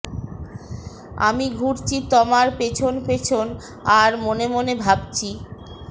আমি ঘুরছি তমার পেছন পেছন আর মনে মনে ভাবছি